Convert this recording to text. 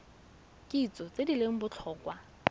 kitso tse di leng botlhokwa